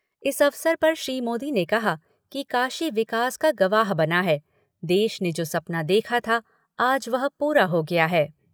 इस अवसर पर श्री मोदी ने कहा कि काशी विकास का गवाह बना है, देश ने जो सपना देखा था, आज वह पूरा हो गया है।